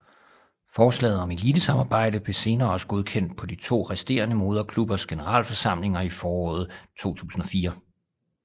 Forslaget om elitesamarbejdet blev senere også godkendt på de to resterende moderklubbers generalforsamlinger i foråret 2004